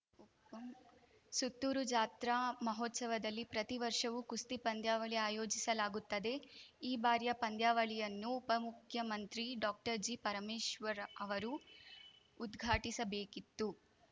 ಸುತ್ತೂರು ಜಾತ್ರಾ ಮಹೋತ್ಸವದಲ್ಲಿ ಪ್ರತಿ ವರ್ಷವೂ ಕುಸ್ತಿ ಪಂದ್ಯಾವಳಿ ಆಯೋಜಿಸಲಾಗುತ್ತದೆ ಈ ಬಾರಿಯ ಪಂದ್ಯಾವಳಿಯನ್ನು ಉಪಮುಖ್ಯಮಂತ್ರಿ ಡಾಕ್ಟರ್ಜಿಪರಮೇಶ್ವರ್‌ ಅವರು ಉದ್ಘಾಟಿಸಬೇಕಿತ್ತು